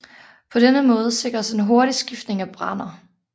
På denne måde sikres en hurtig skiftning af brænder